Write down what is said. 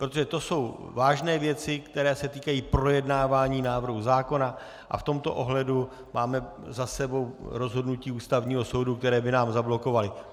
Protože to jsou vážné věci, které se týkají projednávání návrhu zákona, a v tomto ohledu máme za sebou rozhodnutí Ústavního soudu, které (?) by nám zablokovaly .